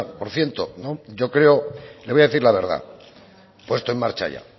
por ciento hecho ya yo creo le voy a decir la verdad puesto en marcha ya